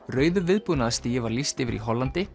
rauðu var lýst yfir í Hollandi